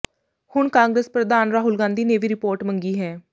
ਹੁਣ ਕਾਂਗਰਸ ਪ੍ਰਧਾਨ ਰਾਹੁਲ ਗਾਂਧੀ ਨੇ ਵੀ ਰਿਪੋਰਟ ਮੰਗੀ ਹੈ